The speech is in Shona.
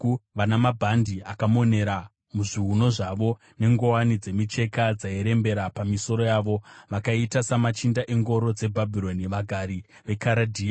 vana mabhandi akamonera muzviuno zvavo nenguwani dzemicheka dzairembera pamisoro yavo; vakaita samachinda engoro dzeBhabhironi, vagari veKaradhea.